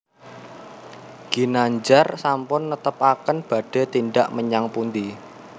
Ginandjar sampun netepaken badhe tindak menyang pundi